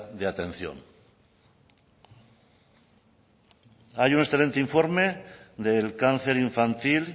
de atención hay un excelente informe del cáncer infantil